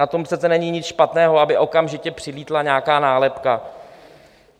Na tom přece není nic špatného, aby okamžitě přilétla nějaká nálepka.